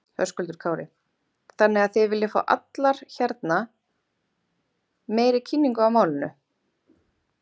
Höskuldur Kári: Þannig að þið viljið fá allar hérna meiri kynningu á málinu?